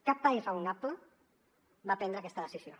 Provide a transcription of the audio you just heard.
cap país raonable va prendre aquesta decisió